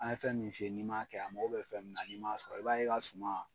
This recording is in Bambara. An ye fɛn min fi ye ni maa kɛ a mako bɛ fɛn minna ni ma sɔrɔ i b'a ye i ka suma.